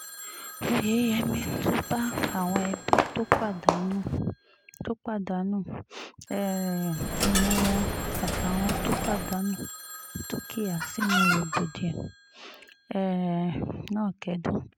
óyeyèmí tún bá àwọn ẹbí tó pàdánù tó pàdánù um èèyàn wọn àtàwọn tó pàdánù dúkìá sínú rògbòdìyàn um náà kẹ́dùn